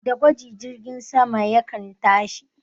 Da gwaji jirgin sama yakan tashi